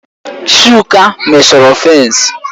Chuka meshọrọ fènsi